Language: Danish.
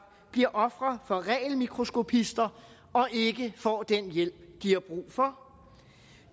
bliver ofre for regelmikroskopister og ikke får den hjælp de har brug for